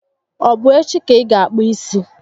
Ọ bụ echi ka ị ga akpụ isi?